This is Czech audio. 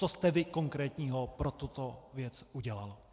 Co jste vy konkrétního pro tuto věc udělal.